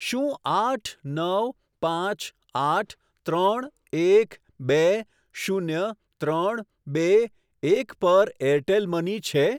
શું આઠ નવ પાંચ આઠ ત્રણ એક બે શૂન્ય ત્રણ બે એક પર એરટેલ મની છે?